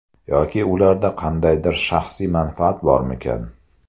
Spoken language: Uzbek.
Yoki ularda qandaydir shaxsiy manfaat bormikan?